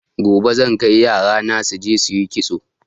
Gobe zan kai yarana suje suyi kitso